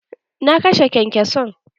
Na kashe kyankyason.